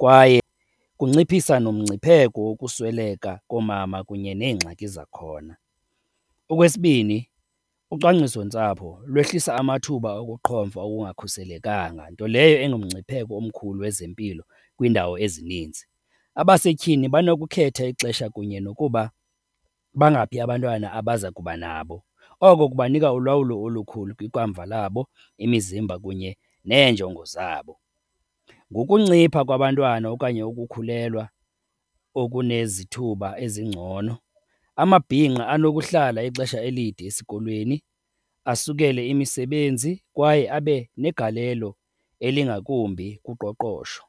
kwaye kunciphisa nomngcipheko wokusweleka koomama kunye neengxaki zakhona. Okwesibini, ucwangcisontsapho lwehlisa amathuba okuqhomfa okungakhuselekanga, nto leyo engumngcipheko omkhulu wezempilo kwiindawo ezininzi. Abasetyhini banokukhetha ixesha kunye nokuba bangaphi abantwana abaza kuba nabo, oko kukubanika ulawulo olukhulu kwiikamva labo, imizimba kunye neenjongo zabo. Ngokuncipha kwabantwana okanye ukukhulelwa okunezithuba ezingcono, amabhinqa anokuhlala ixesha elide esikolweni, asukele imisebenzi kwaye abe negalelo elingakumbi kuqoqosho.